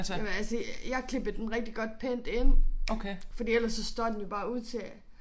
Jamen altså jeg klippede den rigtig godt pænt ind fordi ellers så står den jo bare ud til